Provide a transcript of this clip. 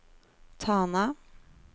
Tana